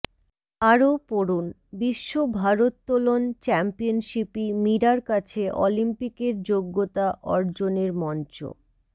আরও পড়ুন বিশ্ব ভারোত্তোলন চ্য়াম্পিয়নশিপই মীরার কাছে অলিম্পিকের যোগ্য়তা অর্জনের মঞ্চ